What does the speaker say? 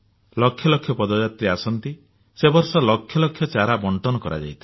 ଲକ୍ଷ ଲକ୍ଷ ପଦଯାତ୍ରୀ ଆସନ୍ତି ସେହି ବର୍ଷ ଲକ୍ଷ ଲକ୍ଷ ଚାରା ବଣ୍ଟନ କରାଯାଇଥିଲା